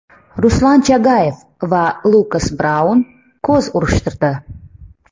Ruslan Chagayev va Lukas Braun ko‘z urishtirdi.